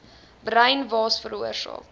bruin waas veroorsaak